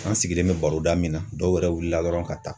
An sigilen bɛ baroda min na dɔw yɛrɛ wulila dɔrɔn ka taa.